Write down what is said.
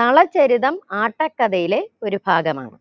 നളചരിതം ആട്ടക്കഥയിലെ ഒരു ഭാഗമാണ്